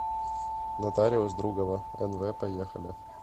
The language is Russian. нотариус другова нв поехали